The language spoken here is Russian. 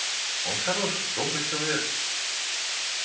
он хороший добрый человек